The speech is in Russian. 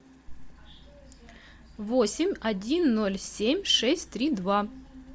восемь один ноль семь шесть три два